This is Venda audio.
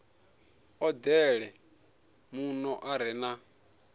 odele muno u re na